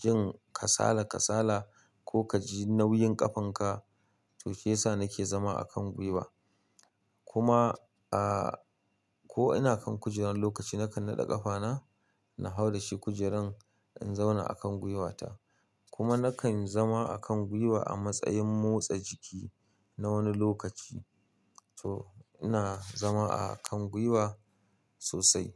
jin kasala kasala ko kaji nauyin ƙafanka. To shiyasa nake zama a kan gwiwa. Kuma, ah, ko ina kan kujerar lokaci nakan naɗa ƙafana na hau da shi kujeran, in zauna a kan gwiwata. Kuma nakan zama a kan gwiwa a matsayin motsa jiki na wani lokaci. To ina zama a kan gwiwa sosai.